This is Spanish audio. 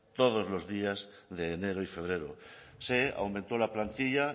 todos los días de enero y febrero se aumentó la plantilla